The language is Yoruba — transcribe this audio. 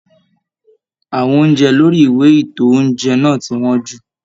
Àwọn oúnjẹ lórí ìwé ito oúnjẹ náà ti wọn jú.